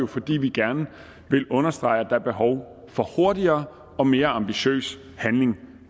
fordi vi gerne vil understrege at der er behov for hurtigere og mere ambitiøs handling